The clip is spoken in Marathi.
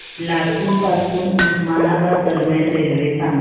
लातूर पासून उस्मानाबाद दरम्यान रेल्वे सांगा